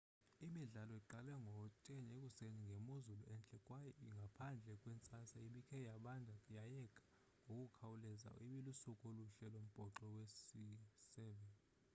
imidlalo iqale ngo-10 00 ekuseni ngemozulu entle kwaye ngaphandle kwentsasa ebike yabanda yayeka ngokukhawuleza ibilusuku oluhle lombhoxo wesi-7